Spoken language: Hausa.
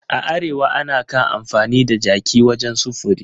A Arewa ana kan amfani da jaki wajen sufuri